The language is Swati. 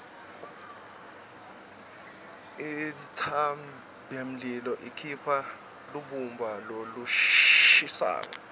intsabamlilo ikhipha lubumba lolushisako